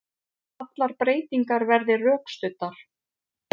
Allar breytingar verði rökstuddar